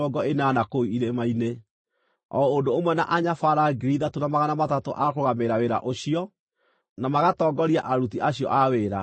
o ũndũ ũmwe na anyabara 3,300 a kũrũgamĩrĩra wĩra ũcio, na magatongoria aruti acio a wĩra.